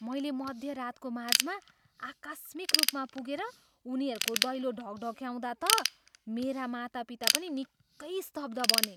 मैले मध्यरातको माझमा आकस्मिक रूपमा पुगेर उनीहरूको दैलो ढकढक्याउँदा त मेरा मातापिता पनि निकै स्तब्ध बने।